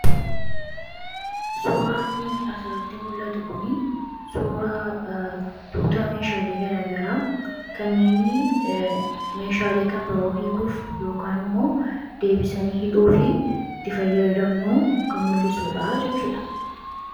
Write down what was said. Suuraanii asirratti mul'atu kunii suuraa tuuta meeshaalee garaagaraa kanneenii meeshaalee kan biroo hiikuuf yookaan immoo deebisanii hidhuufi itti fayyadamnu kan mul'isuudhaa jechuu dha.